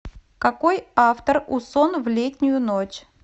какой автор у сон в летнюю ночь